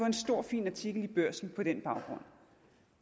en stor fin artikel i børsen på den baggrund